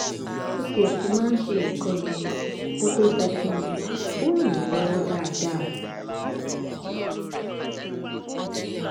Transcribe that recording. ó tiẹ ti máa ń ṣe nǹkan yẹn kó tóo sọ fún mi ò ràn mí lọwọ dáadáa